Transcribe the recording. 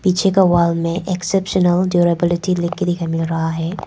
पीछे का वॉल में एक्सेप्शनल ड्युरेबिलिटी लिख के मिल रहा है।